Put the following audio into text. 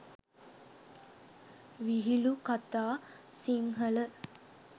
vihilu katha sinhala